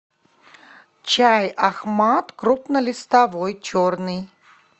чай ахмад крупнолистовой черный